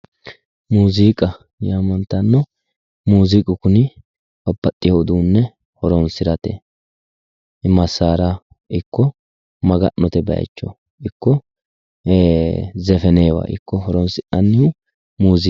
Muziiqa yaamantano muziiqu kuni babbaxewo uduune horonsirate masara ikko maga'note bayicho ikko e"e zefenewa ikko horonsi'nanni muziiqa